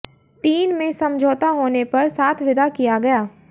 तीन में समझौता होने पर साथ विदा किया गया